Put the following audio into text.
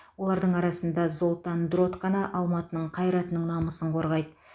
олардың арасында золтан дрот қана алматының қайратының намысын қорғайды